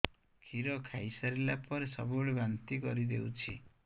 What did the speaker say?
କ୍ଷୀର ଖାଇସାରିଲା ପରେ ସବୁବେଳେ ବାନ୍ତି କରିଦେଉଛି